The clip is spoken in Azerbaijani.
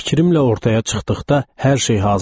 Fikrimlə ortaya çıxdıqda hər şey hazır idi.